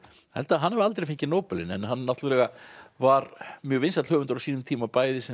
held að hann hafi aldrei fengið Nóbelinn en hann náttúrulega var mjög vinsæll höfundur á sínum tíma bæði sem